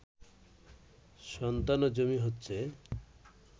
সন্তান ও জমি হচ্ছে